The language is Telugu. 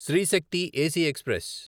Shri Shakti AC express